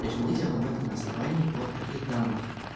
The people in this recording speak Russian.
то есть мы делаем это на основании вот таких данных